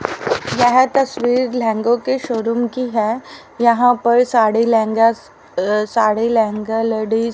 यह तस्वीर लहंगों के शो रूम की है यहां पर साड़ी लहंगा साड़ी लहंगा लेडीज --